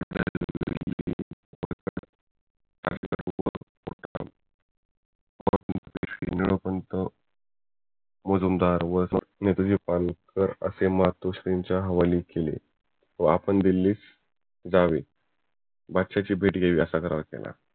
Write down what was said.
निळोपंथ मुजुमदार व नेताजी पालनकर अशे मातोश्रींच्या हवाली केले. व आपण दिल्लीस जावे बादशाहाशी भेट घ्यावी असा करार केला